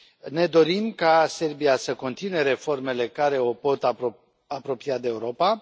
Ne dorim ca Serbia să continue reformele care o pot apropia de Europa.